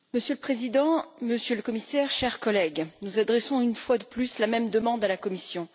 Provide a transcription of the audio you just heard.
Monsieur le Président, Monsieur le Commissaire, chers collègues, nous adressons une fois de plus la même demande à la Commission.